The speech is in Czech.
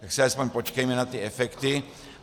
Tak si alespoň počkejme na ty efekty.